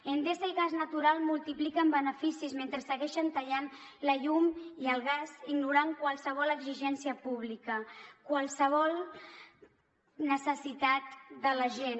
endesa i gas natural multipliquen beneficis mentre segueixen tallant la llum i el gas ignorant qualsevol exigència pública qualsevol necessitat de la gent